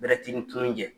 Bɛrɛti ni tunun tɛ